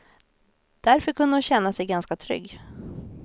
Därför kunde hon känna sig ganska trygg.